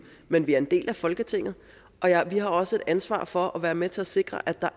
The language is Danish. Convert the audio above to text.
men vi er en del af folketinget og vi har også et ansvar for at være med til at sikre at der